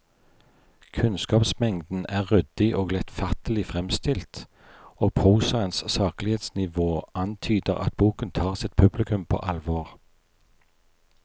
Kunnskapsmengden er ryddig og lettfattelig fremstilt, og prosaens saklighetsnivå antyder at boken tar sitt publikum på alvor.